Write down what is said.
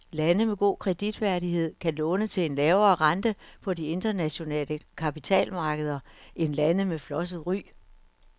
Lande med god kreditværdighed kan låne til en lavere rente på de internationale kapitalmarkeder end lande med flosset ry.